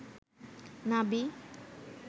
নাভি